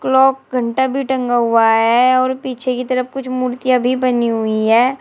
Block घंटा भी टंगा हुआ है और पीछे की तरफ कुछ मूर्ति अभी बनी हुई है।